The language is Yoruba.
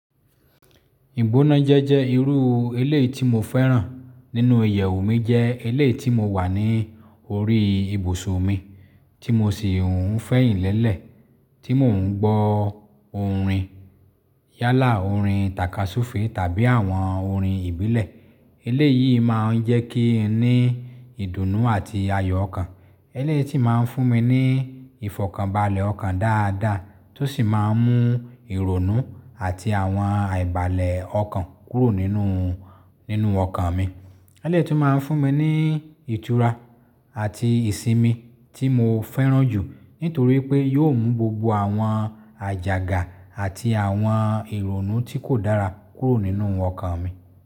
Ìgbónájẹ́ jẹ́ irú elé tí mo fẹ́ràn nínú ìyèwù mi jẹ́ elé tí mo wà ní orí ibùsùn mi, tí mo sì ń fẹ̀yìnlélẹ̀, tí mò ń gbọ́ orin yálà, orin takasúfe tàbí àwọn orin ìbílẹ̀. Elé yìí máa ń jẹ́ kí n ní ìdùnnú àti ayọ̀ ọkàn. Elé yìí sì máa ń fún mi ní ìfọ̀kànbalẹ̀ ọkàn dáadáa tó sì máa ń mú ìrònú àti àwọn aìbalẹ̀ ọkàn kúrò nínú, nínú ọkàn mi. Elé yìí tún máa ń fún mi ní ìtura àti ìsinmi tí mo fẹ́ràn jù nítorí pé yóò mú gbogbo àwọn àjàgà àti àwọn ìrònú tí kò dára kúrò nínú ọkàn mi.